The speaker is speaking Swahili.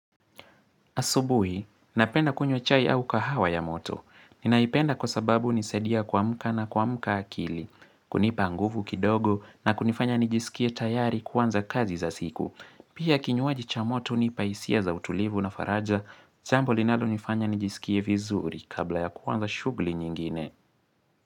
Asubuhi, napenda kunywa chai au kahawa ya moto. Ninaipenda kwa sababu nisaidia kuamka na kuamka akili, kunipa nguvu kidogo na kunifanya nijiskie tayari kuanza kazi za siku. Pia kinywaji cha moto nipa hisia za utulivu na faraja, jambo linalo nifanya nijiskie vizuri kabla ya kuanza shugli nyingine.